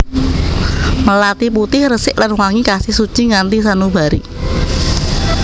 Melati putih resik lan wangi kasih suci nganti sanubari